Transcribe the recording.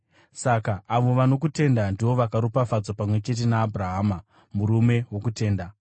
Saka avo vanokutenda ndivo vakaropafadzwa pamwe chete naAbhurahama, murume wokutenda.